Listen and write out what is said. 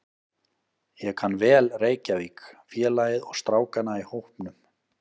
Ég kann vel Reykjavík, félagið og strákana í hópnum.